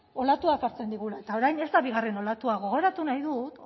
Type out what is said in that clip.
olatuak hartzen digula eta orain ez da bigarren olatua gogoratu nahi dut